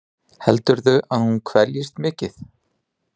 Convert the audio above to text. Heldurðu að hún kveljist mikið?